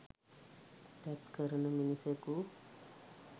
තැත් කරන මිනිසෙකු